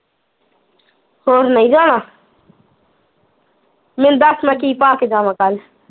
ਹੋਰ ਨਈ ਜਾਣਾ ਮੈਨੂੰ ਦੱਸ ਮੈਂ ਕੀ ਪਾ ਕੇ ਜਾਵਾ ਕੱਲ